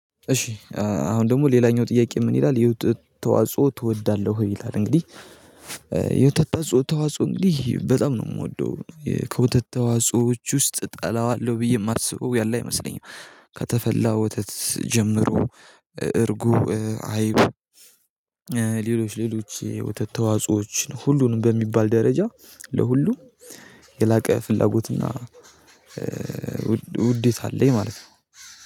እሺ አሁን ደግሞ ሌላኛው ጥያቄ ምን ይላል የወተት ተዋጽኦ ትወዳለህ ይላል? እንግዲህ የውተት ተጾ ተዋጽኦ እንግዲህ በጣም ነው የምወደው። ከወተት ተዋጽኦዎች ውስጥ እጠላዋለሁ ብዬ የማስበው ያለ አይመስለኝም። ከተፈላ ወተት ጀምሮ እርጎ አይብ። ሌሎች የወተት ተዋጾዎችን ሁሉንም በሚባል ደረጃ ለሁሉም የላቀ ፍላጎት እና ውዴታ አለኝ ማለት ነው